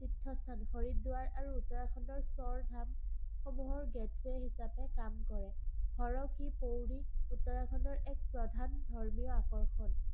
তীৰ্থস্থান হৰিদ্বাৰ আৰু উত্তৰাখণ্ডৰ স্বৰধামসমূহৰ gateway হিচাপে কাম কৰে। হৰকি-পৌৰী উত্তৰাখণ্ডৰ এক প্ৰধান ধৰ্মীয় আকৰ্ষণ